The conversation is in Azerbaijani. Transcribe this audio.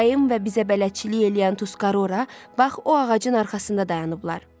Dayım və bizə bələdçilik eləyən Tuskarora, bax o ağacın arxasında dayanıblar.